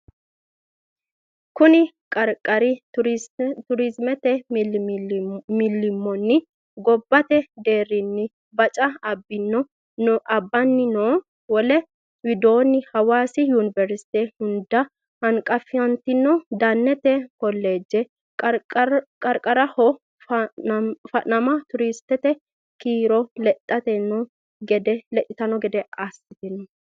Kuni qarqari turistete millimmonni gobbate deerrinni baca abbanni no Wole widoonni Hawaasi Yuniversite hunda hanqafantinoti Dannete Kolleeje qarqaraho fa nama turistete kiiro lexxitanno gede assitino.